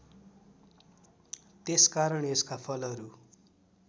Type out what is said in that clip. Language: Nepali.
त्यसकारण यसका फलहरू